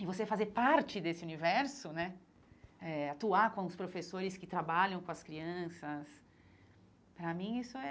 E você fazer parte desse universo né eh, atuar com os professores que trabalham com as crianças, para mim isso é...